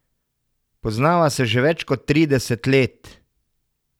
Poznava se že več kot trideset let.